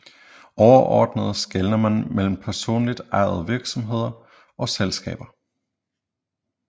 Overordnet skelner man mellem personligt ejede virksomheder og selskaber